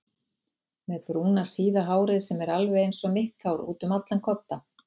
Með brúna síða hárið sem er alveg einsog mitt hár útum allan kodda.